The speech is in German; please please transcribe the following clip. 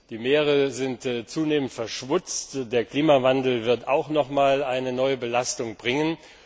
Die Meere sind zunehmend verschmutzt, der Klimawandel wird auch noch einmal eine neue Belastung bringen.